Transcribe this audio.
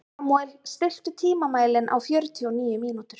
Samúel, stilltu tímamælinn á fjörutíu og níu mínútur.